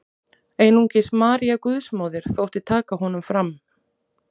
Einungis María Guðsmóðir þótti taka honum fram.